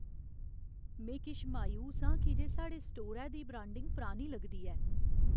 में किश मायूस आं की जे साढ़े स्टोरै दी ब्रांडिंग परानी लगदी ऐ।